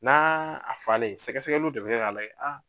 N'a à falen, sɛgɛsɛgɛliw de bɛ kɛ k'a lagɛ